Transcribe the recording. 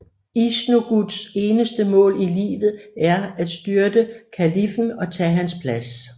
Iznogoods eneste mål i livet er at styrte kaliffen og tage hans plads